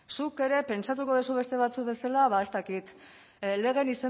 zuk ere pentsatuko duzu beste batzuk bezala ba ez dakit legearen